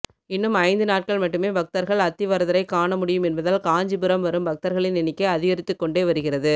இன்னும் ஐந்து நாட்கள் மட்டுமே பக்தர்கள் அத்திவரதரை காணமுடியும் என்பதால் காஞ்சிபுரம் வரும் பக்தர்களின் எண்ணிக்கை அதிகரித்து கொண்டே வருகிறது